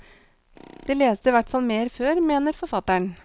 De leste i hvert fall mer før, mener forfatteren.